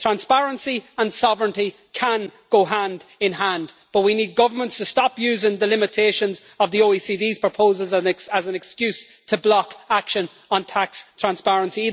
Transparency and sovereignty can go hand-in-hand, but we need governments to stop using the limitations of the OECD's proposals as an excuse to block action on tax transparency.